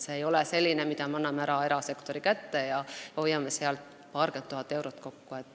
See ei ole selline asi, et anname erasektori kätte ja hoiame paarkümmend tuhat eurot kokku.